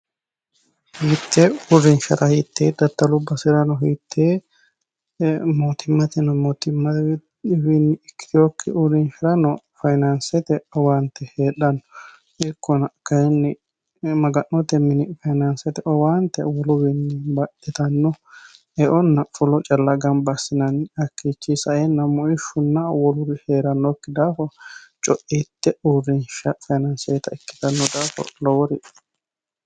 Hiite uurrinsharano hiite daddallu baserano mootimaniwinno mootimmawi ikkitinokki uurrinshuwarano faayyinansete owaante heedhano ikkonna kayinni Maga'note mini faayyinanse woluwinni baxxittano eonna fulo calla gamba assinanni hakkichi saenna muishunna woluri heeranokki daafo coite faayyinansete uurrinsha ikkittano daafo lowori dibushano.